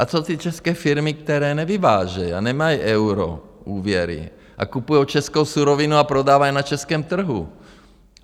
A co ty české firmy, které nevyvážejí a nemají euro, úvěry a kupují českou surovinu a prodávají na českém trhu?